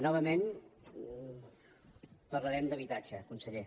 novament parlarem d’habitatge conseller